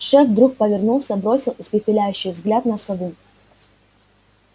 шеф вдруг повернулся бросил испепеляющий взгляд на сову